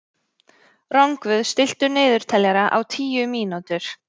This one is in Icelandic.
Rongvuð, stilltu niðurteljara á tíu mínútur.